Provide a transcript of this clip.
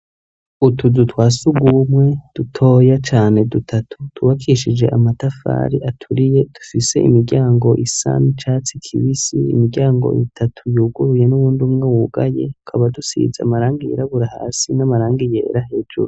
Utuzu twasugwumwe dutoya cane dutatu twubakishije amatafari aturiye, dufise imiryango isa n'icatsi kibisi imiryango itatu yuguruye n'uwundi umwe wugaye tukaba dusize amarangi yirabura hasi n'amarangi yera hejuru.